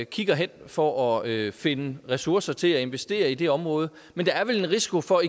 kigger hen for at finde ressourcer til at investere i det område men der er vel en risiko for